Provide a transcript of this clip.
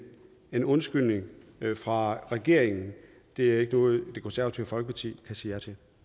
en undskyldning fra regeringen er ikke noget det konservative folkeparti kan sige